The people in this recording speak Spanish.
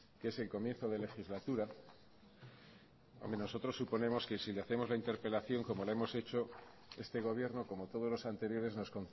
que es el comienzo de legislatura nosotros suponemos que si le hacemos la interpelación como la hemos hecho este gobierno como todos los anteriores nos